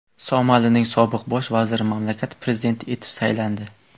Somalining sobiq bosh vaziri mamlakat prezidenti etib saylandi.